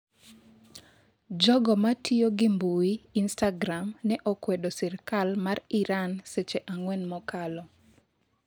Jogo matiyo gi mbui instagram ne okwedo sirikal mar Iran seche ang'wen mokalo